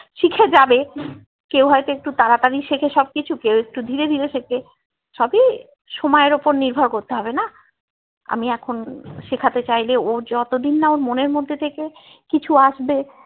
শিখে যাবে কেউ হয়তো একটু তাড়াতাড়ি শিখে সব কিছু কেউ হয়তো ধীরে ধীরে শিখে সবই সময় এর উপর নির্ভর করতে হবেনা আমি এখন শেখাতে চাইলে ও যতোদিননা ওর মনের মধ্যে থেকে কিছু আসবে